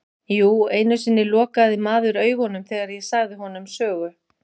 Jú einu sinni lokaði maður augunum þegar ég sagði honum sögu.